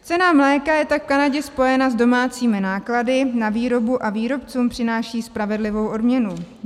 Cena mléka je tak v Kanadě spojena s domácími náklady na výrobu a výrobcům přináší spravedlivou odměnu.